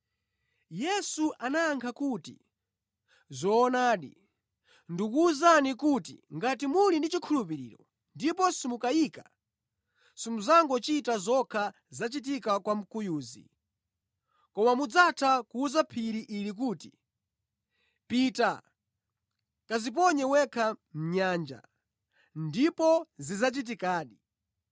Yesu anayankha kuti, “Zoonadi, ndikuwuzani kuti ngati muli ndi chikhulupiriro ndipo simukayika, simudzangochita zokha zachitika kwa mkuyuzi, koma mudzatha kuwuza phiri ili kuti, ‘Pita, kadziponye wekha mʼnyanja,’ ndipo zidzachitikadi.